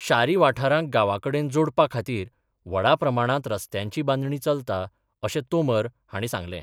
शारी वाठारांक गांवां कडेन जोडपा खातीर व्हडा प्रमाणांत रस्त्यांची बांदणी चलता अशें तोमर हांणी सांगलें.